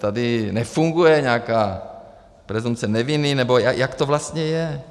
Tady nefunguje nějaká presumpce neviny, nebo jak to vlastně je?